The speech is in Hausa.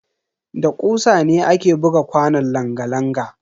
Da kusa ne ake buga kwanon langa-langa.